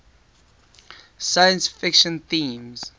science fiction themes